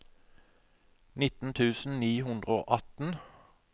nitten tusen ni hundre og atten